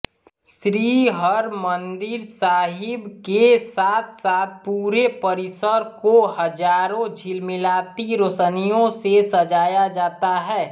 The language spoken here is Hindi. श्री हरमंदिर साहिब के साथसाथ पूरे परिसर को हजारों झिलमिलाती रोशनियों से सजाया जाता है